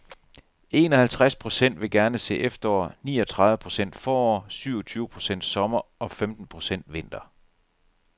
Enoghalvtreds procent vil gerne se efterår, niogtredive procent forår, syvogtyve procent sommer og femten procent vinter.